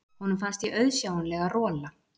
Honum fannst ég auðsjáanlega rola.